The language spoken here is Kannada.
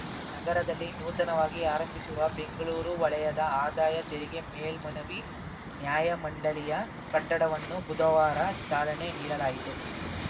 ನಗರದಲ್ಲಿ ನೂತನವಾಗಿ ಆರಂಭಿಸಿರುವ ಬೆಂಗ್ಳೂರು ವಲಯದ ಆದಾಯ ತೆರಿಗೆ ಮೇಲ್ಮನವಿ ನ್ಯಾಯಮಂಡಳಿಯ ಕಟ್ಟಡವನ್ನು ಬುಧವಾರ ಚಾಲನೆ ನೀಡಲಾಯಿತು